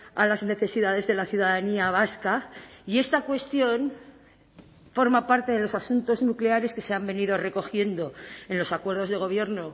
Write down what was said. a las necesidades de la ciudadanía vasca y esta cuestión forma parte de los asuntos nucleares que se han venido recogiendo en los acuerdos de gobierno